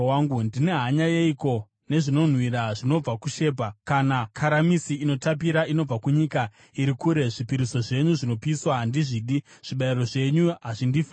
Ndine hanya yeiko nezvinonhuhwira zvinobva kuShebha, kana karamisi inotapira inobva kunyika iri kure? Zvipiriso zvenyu zvinopiswa handizvidi; zvibayiro zvenyu hazvindifadzi.”